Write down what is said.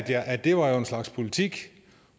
jeg at det jo var en slags politik